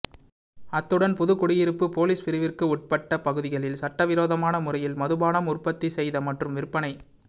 அத்துடன் புதுக்குடியிருப்பு பொலிஸ் பிரிவிற்கு உட்பட்ட பகுதிகளில் சட்டவிரோமான முறையில் மதுபானம் உற்பத்தி செய்த மற்றும் விற்பனை